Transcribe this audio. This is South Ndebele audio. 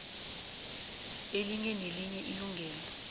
elinye nelinye ilungelo